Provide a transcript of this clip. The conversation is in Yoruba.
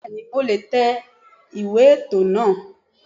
Bẹ́ẹ̀ni mo le è tẹ ìwé ètò náà